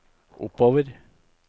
oppover